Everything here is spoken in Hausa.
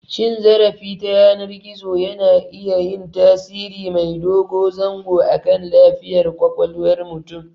Cin zarafi ta yanar gizo yana iya yin tasiri mai dogo zango akan lafiyar ƙwaƙwalwar mutum.